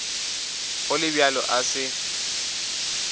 go le bjalo a se